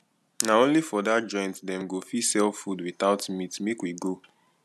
na only for dat joint dem go fit sell food witout meat make we go